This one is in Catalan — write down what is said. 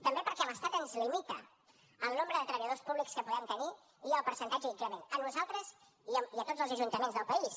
també perquè l’estat ens limita el nombre de treballadors públics que podem tenir i el percentatge d’increment a nosaltres i a tots els ajuntaments del país